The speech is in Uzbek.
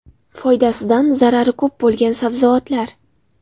Foydasidan zarari ko‘p bo‘lgan sabzavotlar.